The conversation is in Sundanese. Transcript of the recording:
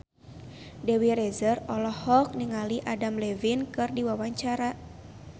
Dewi Rezer olohok ningali Adam Levine keur diwawancara